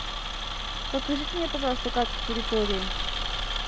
покажите мне пожалуйста карту территории